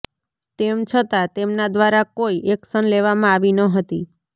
તેમ છતંા તેમના દ્વારા કોઈ એકશન લેવામાં આવી ન હતી